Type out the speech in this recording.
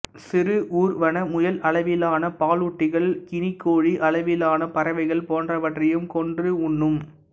சிறு ஊர்வன முயல் அளவிலான பாலூட்டிகள் கினிக்கோழி அளவிலான பறவைகள் போன்றவற்றையும் கொன்று உண்ணும்